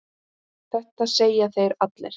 Þetta segja þeir allir!